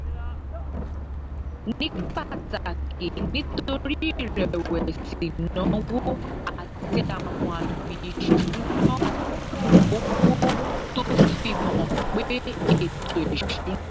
ní pàtàkì nítorí ìrẹ̀wẹ̀sì ìnáwó àti àwọn àmì ìṣúnná owó tó fi hàn pé ètò ìṣúnná